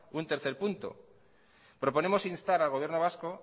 un tercer punto proponemos instar al gobierno vasco